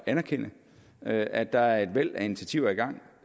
at anerkende at at der er et væld af initiativer i gang